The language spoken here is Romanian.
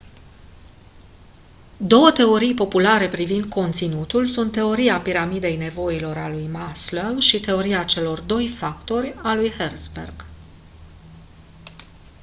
două teorii populare privind conținutul sunt teoria piramidei nevoilor a lui maslow și teoria celor doi factori a lui herzberg